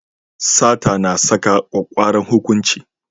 Sata na saka kwakkwaran hukunci.